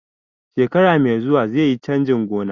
Shekara mai zuwa zaiyi canjin gona